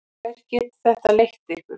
Hvert getur þetta leitt ykkur?